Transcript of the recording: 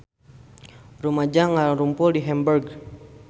Rumaja ngarumpul di Hamburg